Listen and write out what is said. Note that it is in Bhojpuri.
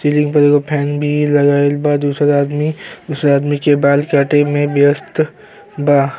सीलिंग पर एगो फैन भी लगाइल बा। दूसर आदमी दूसरा आदमी के बाल काटे में ब्यस्त बा।